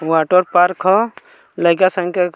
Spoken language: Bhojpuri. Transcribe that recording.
वाटर पार्क ह लइका संग के --